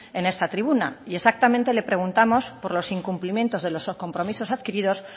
en esta tribuna y exactamente le preguntamos por los incumplimientos de los compromisos adquiridos